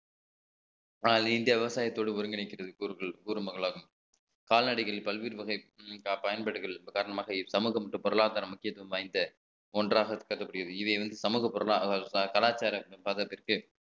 ஆனால் இந்தியா விவசாயத்தோடு ஒருங்கிணைக்கிறது ஒரு மகளாகும் கால்நடைகளில் பல்வேறு வகை பயன்பாடுகள் காரணமாக இச்சமூகம் மற்றும் பொருளாதார முக்கியத்துவம் வாய்ந்த ஒன்றாக கருதப்படுகிறது இதை வந்து சமூக பொருளாதார கலாச்சாரம் பதத்திற்கு